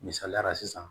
Misaliyala sisan